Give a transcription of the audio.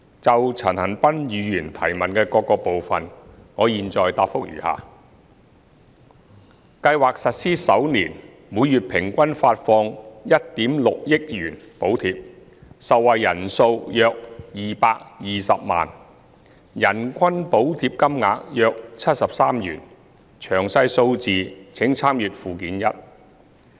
就陳恒鑌議員質詢的各部分，我現答覆如下：計劃實施首年，每月平均發放1億 6,000 萬元補貼，受惠人數約220萬，人均補貼金額約73元，詳細數字請參閱附件一。